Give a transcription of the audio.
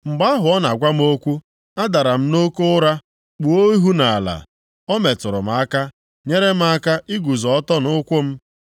Mgbe ahụ ọ na-agwa m okwu, adara m nʼoke ụra, kpuo ihu nʼala. Ma o metụrụ m aka, nyere m aka iguzo ọtọ nʼụkwụ m.